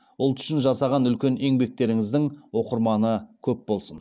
ұлт үшін жасаған үлкен еңбектеріңіздің оқырманы көп болсын